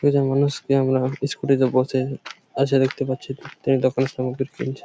একজন মানুষ আমরা ই-স্কুটি -তে বসে আছে দেখতে পাচ্ছি। তিন টাকার সামগ্রী কিনছে ।